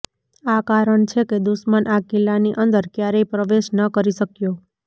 આ કારણ છે કે દુશ્મન આ કિલ્લાની અંદર ક્યારેય પ્રવેશ ન કરી શક્યો